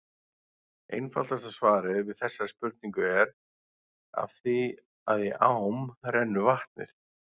Einfaldasta svarið við þessari spurningu er: Af því að í ám rennur vatnið!